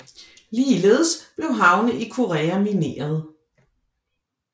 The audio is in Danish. Ligeledes blev havne i Korea mineret